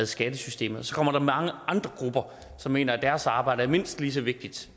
skattesystemet så kommer der mange andre grupper som mener at deres arbejde er mindst lige så vigtigt